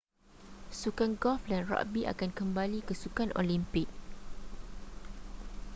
sukan golf dan ragbi akan kembali ke sukan olimpik